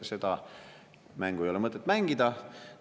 Seda mängu ei ole mõtet mängida.